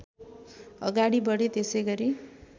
अगाडि बढे त्यसैगरी